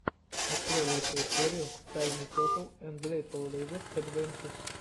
открой лучшую серию тайни тетл энд литл лизэд адвенчез